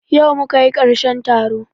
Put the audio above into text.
Yau muka yi karshen taro